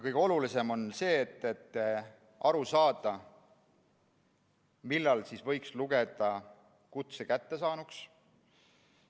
Kõige olulisem on aru saada, millal võiks lugeda kutse kättesaaduks.